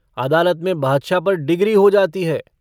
आदलत में बादशाह पर डिग्री हो जाती है।